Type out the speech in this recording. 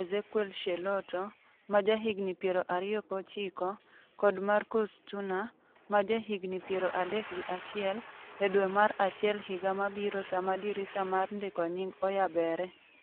Ezequiel Schelotto, ma jahigni 29, kod Markus Suttner, ma jahigni 31, e dwe mar achiel higa mabiro sama dirisa mar ndiko nying' oyabere.